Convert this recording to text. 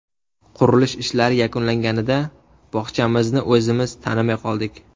Qurilish ishlari yakunlanganida bog‘chamizni o‘zimiz tanimay qoldik.